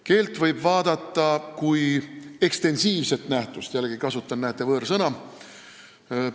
Keelt võib vaadata kui ekstensiivset nähtust – jällegi kasutan, näete, võõrsõna.